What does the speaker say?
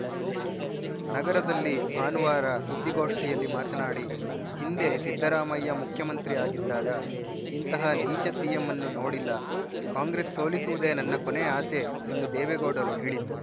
ನಗರದಲ್ಲಿ ಭಾನುವಾರ ಸುದ್ದಿಗೋಷ್ಠಿಯಲ್ಲಿ ಮಾತನಾಡಿ ಹಿಂದೆ ಸಿದ್ದರಾಮಯ್ಯ ಮುಖ್ಯಮಂತ್ರಿ ಆಗಿದ್ದಾಗ ಇಂತಹ ನೀಚ ಸಿಎಂ ಅನ್ನು ನೋಡಿಲ್ಲ ಕಾಂಗ್ರೆಸ್‌ ಸೋಲಿಸುವುದೇ ನನ್ನ ಕೊನೆ ಆಸೆ ಎಂದು ದೇವೇಗೌಡರು ಹೇಳಿದ್ದರು